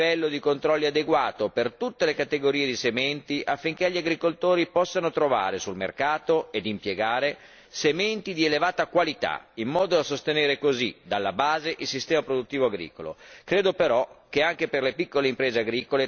Al riguardo è indispensabile che debba esserci un livello di controlli adeguato per tutte le categorie di sementi affinché gli agricoltori possano trovare sul mercato, e impiegare, sementi di elevata qualità, in modo da sostenere così, dalla base, il sistema produttivo agricolo.